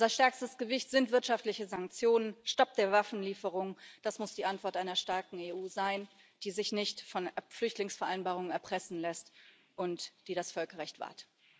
Unser stärkstes Gewicht sind wirtschaftliche Sanktionen, Stopp der Waffenlieferung das muss die Antwort einer starken EU sein, die sich nicht von Flüchtlingsvereinbarungen erpressen lässt und die das Völkerrecht wahrt.